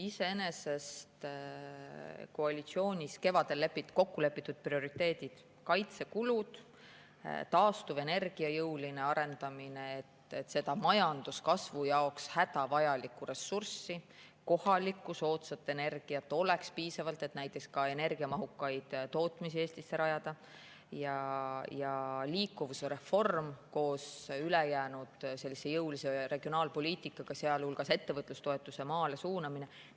Iseenesest lepiti koalitsioonis kevadel kokku prioriteedid: kaitsekulud, taastuvenergia jõuline arendamine, et seda majanduskasvu jaoks hädavajalikku ressurssi, kohalikku soodsat energiat, oleks piisavalt, et näiteks ka energiamahukat tootmist Eestisse rajada, ja liikuvuse reform koos jõulise regionaalpoliitikaga, sealhulgas ettevõtlustoetuste maale suunamisega.